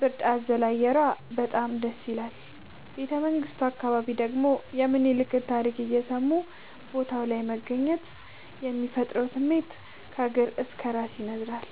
ብርድ አዘል አየሯ በጣም ደስይላል። ቤተመንግቱ አካባቢ ደግሞ የሚኒልክን ታሪክ እየሰሙ ቦታው ላይ መገኘት የሚፈጥረው ስሜት ከእግር እስከ እራስ ያስነዝራል።